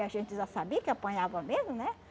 E a gente já sabia que apanhava mesmo, né?